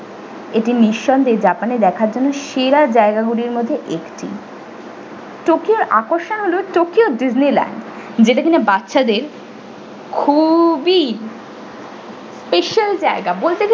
এটি নিঃসন্দেহে japan এর দেখার জন্য সেরা জায়গা গুলির মধ্যে একটি tokyo এর আকর্ষণ হলো tokyo disney land যেটি কিনা বাচ্ছাদের খুবই special জায়গা বলতে গেলে।